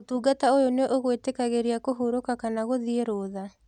ũtungata ũyũ nĩ ũgwĩtĩkagĩria kũhurũka kana kũthiĩ rũtha.